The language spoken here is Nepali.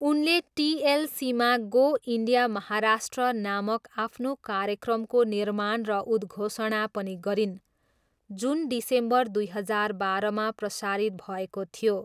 उनले टिएलसीमा गो इन्डिया महाराष्ट्र नामक आफ्नो कार्यक्रमको निर्माण र उद्घोषणा पनि गरिन्, जुन डिसेम्बर दुई हजार बाह्रमा प्रसारित भएको थियो।